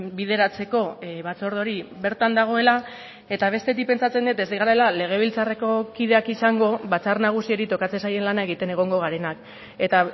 bideratzeko batzorde hori bertan dagoela eta bestetik pentsatzen dut ez garela legebiltzarreko kideak izango batzar nagusiari tokatzen zaien lana egiten egongo garenak eta